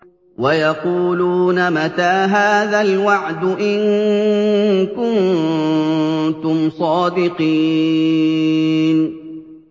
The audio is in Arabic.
وَيَقُولُونَ مَتَىٰ هَٰذَا الْوَعْدُ إِن كُنتُمْ صَادِقِينَ